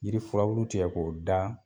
Yiri furabulu tigɛ k'o da